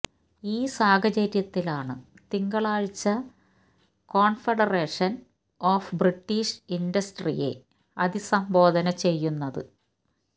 ഈ സാഹചര്യത്തിലാണ് തിങ്കളാഴ്ച മേ കോൺഫെഡറേഷൻ ഓഫ് ബ്രിട്ടീഷ് ഇൻഡസ്ടറിയെ അതിസംബോധന ചെയ്യുന്നത്